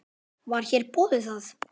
Var þér boðið það?